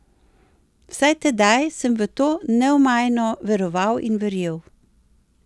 Vsaj tedaj sem v to neomajno veroval in verjel.